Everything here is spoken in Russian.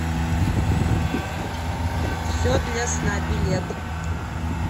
все для сна билет